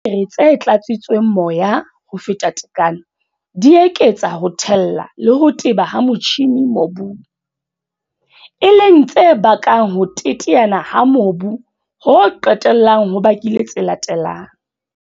Dithaere tse tlatsitsweng moya ho feta tekano di eketsa ho thella le ho teba ha motjhine mobung, e leng tse bakang ho teteana ha mobu ho qetellang ho bakile tse latelang.